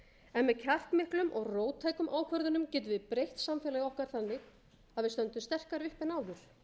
en með kjarkmiklum og róttækum ákvörðunum getum við breytt samfélagi okkar þannig að við stöndum sterkari uppi en áður